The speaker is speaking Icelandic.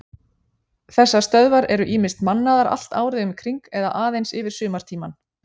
Þessar stöðvar eru ýmist mannaðar allt árið um kring eða aðeins yfir sumartímann.